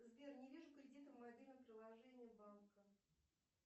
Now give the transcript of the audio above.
сбер не вижу кредита в мобильном приложении банка